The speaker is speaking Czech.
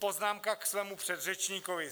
Poznámka k svému předřečníkovi.